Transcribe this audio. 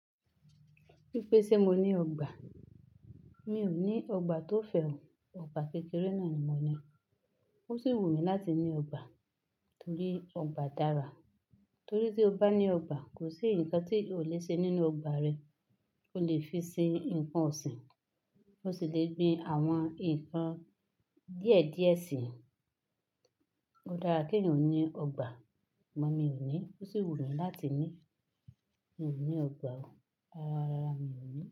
Wí pé ṣe mo ní ọgbà? Mi ò ní ọgbà tó fẹ̀ ọ́, ọgbà kékeré náà ni mo ní. Ó sì wù mí láti ní ọgbà torí ọgbà dára. Torí tí o bá ní ọgbà, kò sí ǹkan tí ò le ṣe nínú ọgbà rẹ. Ó lè fi ń ṣe ǹkan ọ̀sìn, ó sì lè gbin àwọn ǹkan díẹ̀ díẹ̀ sí i. Ó dára kí èèyàn ní ọgbà, sùgbón mi ò ní, ó sì wù mí láti ní. Mi ò ní ọgbà o, rárá, rárá mi ò ní.